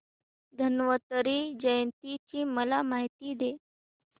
धन्वंतरी जयंती ची मला माहिती दे